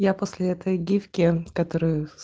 я после этой гифки которую